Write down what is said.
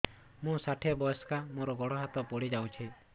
ମୁଁ ଷାଠିଏ ବୟସ୍କା ମୋର ଗୋଡ ହାତ ପଡିଯାଇଛି